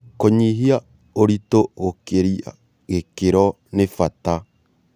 Kũnyihia ũritu gũkĩria gĩkĩro nĩ bata